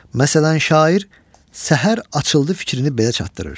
Məsələn, şair Səhər açıldı fikrini belə çatdırır.